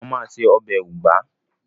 Màmá màa se ọbẹ̀ ugba.